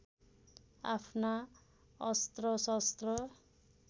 आफ्ना अस्त्र शस्त्र